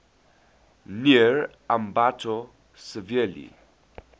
near ambato severely